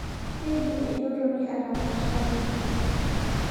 Keidim entoroni atapashayu.